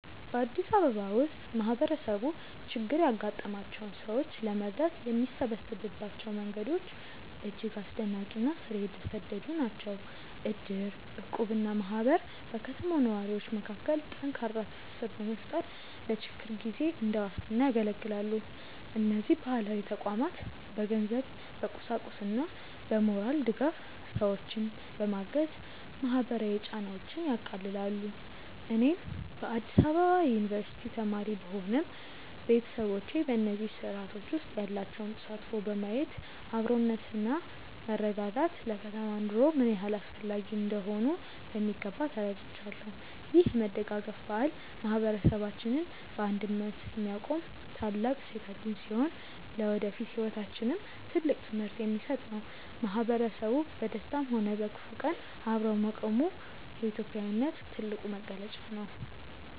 በአዲስ አበባ ውስጥ ማህበረሰቡ ችግር ያጋጠማቸውን ሰዎች ለመርዳት የሚሰበሰብባቸው መንገዶች እጅግ አስደናቂ እና ስር የሰደዱ ናቸው። እድር፣ እቁብ እና ማህበር በከተማው ነዋሪዎች መካከል ጠንካራ ትስስር በመፍጠር ለችግር ጊዜ እንደ ዋስትና ያገለግላሉ። እነዚህ ባህላዊ ተቋማት በገንዘብ፣ በቁሳቁስና በሞራል ድጋፍ ሰዎችን በማገዝ ማህበራዊ ጫናዎችን ያቃልላሉ። እኔም በአዲስ አበባ ዩኒቨርሲቲ ተማሪ ብሆንም፣ ቤተሰቦቼ በእነዚህ ስርአቶች ውስጥ ያላቸውን ተሳትፎ በማየት አብሮነትና መረዳዳት ለከተማ ኑሮ ምን ያህል አስፈላጊ እንደሆኑ በሚገባ ተረድቻለሁ። ይህ የመደጋገፍ ባህል ማህበረሰባችንን በአንድነት የሚያቆም ታላቅ እሴታችን ሲሆን፣ ለወደፊት ህይወታችንም ትልቅ ትምህርት የሚሰጥ ነው። ማህበረሰቡ በደስታም ሆነ በክፉ ቀን አብሮ መቆሙ የኢትዮጵያዊነት ትልቁ መገለጫ ነው።